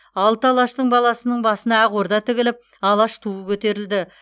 алты алаштың баласының басына ақ орда тігіліп алаш туы көтерілді